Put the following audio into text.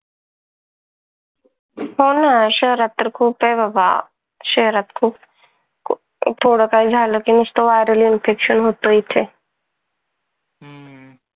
हो ना शहरात तर खूप आहे बाबा. शहरात खूप खूप थोड काही झाल कि नुसत viral infection होतं इथे.